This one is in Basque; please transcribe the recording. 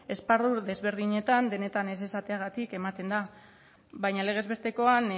esparru desberdinetan denetan ez esateagatik ematen da baina legez bestekoan